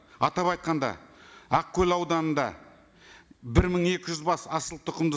атап айтқанда ақкөл ауданында бір мың екі жүз бас асылтұқымды